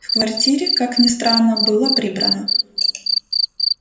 в квартире как ни странно было прибрано